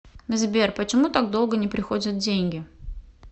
сбер почему так долго не приходят деньги